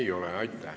Ei ole.